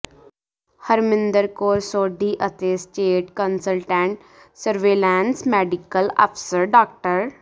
ਹਰਮਿੰਦਰ ਕੌਰ ਸੋਢੀ ਅਤੇ state consultant surveillance medical ਅਫ਼ਸਰ ਡਾ